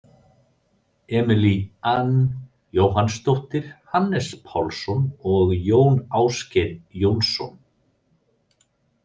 Emilie Anne Jóhannsdóttir, Hannes Pálsson og Jón Ásgeir Jónsson.